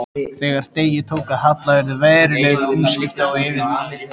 Þegar degi tók að halla urðu veruleg umskipti á yfirbragði